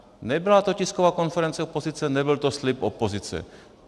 Nebyla to tisková konference opozice, nebyl to slib opozice.